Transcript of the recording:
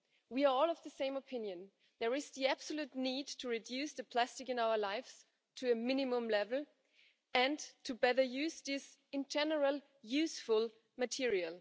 We are all of the same opinion there is the absolute need to reduce the plastic in our lives to a minimum level and to better use this in general useful material.